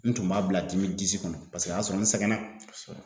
N tun b'a bila kɔnɔ paseke o y'a sɔrɔ n sɛgɛnna. Kosɛbɛ.